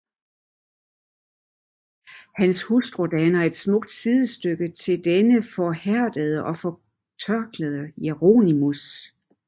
Hans Hustru danner et smukt Sidestykke til denne forhærdede og fortørkede Jeronimus